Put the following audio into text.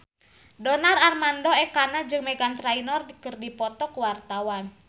Donar Armando Ekana jeung Meghan Trainor keur dipoto ku wartawan